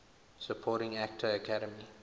supporting actor academy